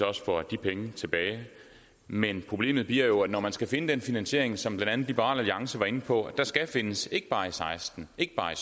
også får de penge tilbage men problemet bliver jo at når man skal finde den finansiering som blandt andet liberal alliance var inde på skal findes ikke bare i og seksten ikke bare i